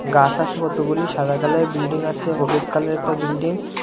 গাস আসে কতগুলি সাদা কালারের বিল্ডিং আসে হলুদ কালারের একটা বিল্ডিং --